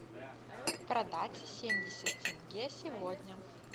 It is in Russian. продать семьдесят тенге сегодня